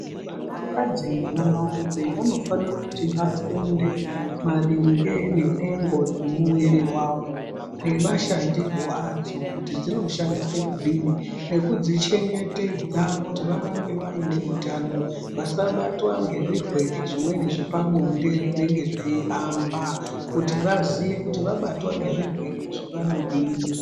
Vana kadzi ne vana rume vano fanire kuti vafunde maringe ne nhengo dze muviri wavo ne mashandirwo adzo kuti dzino shandise kudini nekudzi chengetedza kuti varambe vaine utano vasa batwa nge zvirwere zvimweni zvepa bonde zvinenge zvei hamba kuti vaziye kuti vabatwa nge zvirwere izvi vanodini.